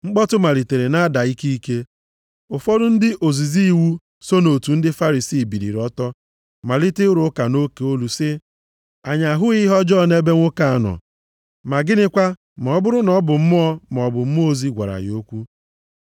Mkpọtụ malitere na-ada ike ike. Ụfọdụ ndị ozizi iwu so nʼotu ndị Farisii biliri ọtọ malite ịrụ ụka nʼoke olu sị, “Anyị ahụghị ihe ọjọọ nʼebe nwoke a nọ, ma gịnịkwa ma ọ bụrụ na ọ bụ mmụọ, maọbụ mmụọ ozi gwara ya okwu?”